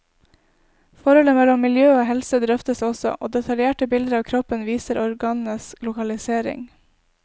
Forholdet mellom miljø og helse drøftes også, og detaljerte bilder av kroppen viser organenes lokalisering.